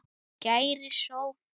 Kæri Sophus.